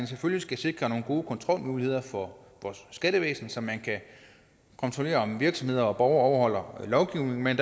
selvfølgelig sikre nogle gode kontrolmuligheder for vores skattevæsen så man kan kontrollere om virksomheder og borgere overholder lovgivningen men